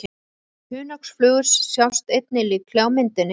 Hunangsflugur sjást einnig líklega á myndinni.